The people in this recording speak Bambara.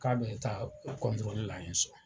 K'a bɛ taa kɔntrɔli la ye sɔn.